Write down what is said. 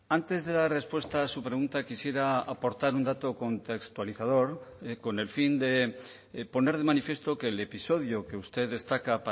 antes de dar respuesta a su pregunta quisiera aportar un dato contextualizador con el fin de poner de manifiesto que el episodio que usted destaca